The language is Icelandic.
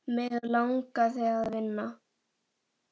Mig langaði að vinna.